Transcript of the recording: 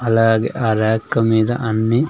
అలాగే ఆ రాక్ మీద అన్ని.